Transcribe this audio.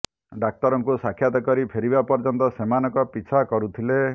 ଡାକ୍ତରଙ୍କୁ ସାକ୍ଷାତ କରି ଫେରିବା ପର୍ଯ୍ୟନ୍ତ ସେମାନଙ୍କ ପିଛା କରୁଥିଲେ